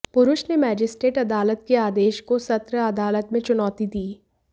पुरष ने मजिस्ट्रेट अदालत के आदेश को सत्र अदालत में चुनौती दी